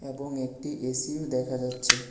এবং একটি এসিও দেখা যাচ্ছে।